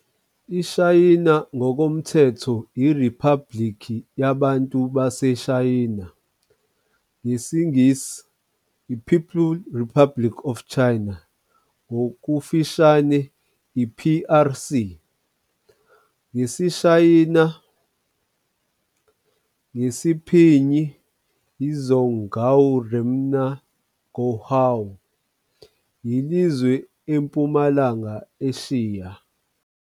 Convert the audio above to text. IShayina, ngokomthetho - IRiphabhuliki yaBantu baseShayina, ngesiNgisi - "People's Republic of China," ngokufushane - "i-PRC", ngesiShayina - ngesiPinyin - "Zhōnghuá Rénmín Gònghéguó", yilizwe empumalanga Eshiya.